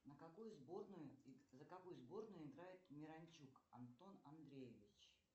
на какую сборную за какую сборную играет миранчук антон андреевич